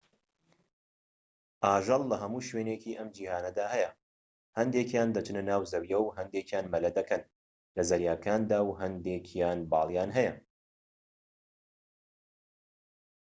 ئاژەڵ لە هەموو شوێنێکی ئەم جیهانەدا هەیە هەندێکیان دەچنە ناو زەویەوە و هەندێکیان مەلە دەکەن لە زەریاکاندا و هەندێکیان باڵیان هەیە